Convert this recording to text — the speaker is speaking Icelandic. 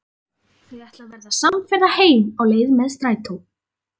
Þau ætla að verða samferða heim á leið með strætó.